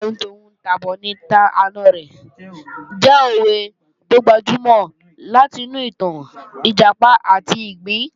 "Èébú àlọ ni ta'hun tà'bọ̀ ni tà'na ẹ̀" jẹ́ òwe tó gbajúmọ̀ láti inú ìtàn Ìjàpá àti ìgbín